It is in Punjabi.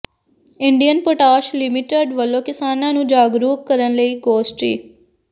ਇੰਡੀਅਨ ਪੋਟਾਸ਼ ਲਿਮਟਿਡ ਵੱਲੋਂ ਕਿਸਾਨਾਂ ਨੂੰ ਜਾਗਰੂਕ ਕਰਨ ਲਈ ਗੋਸ਼ਟੀ